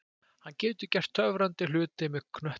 Hann getur gert töfrandi hluti með knöttinn.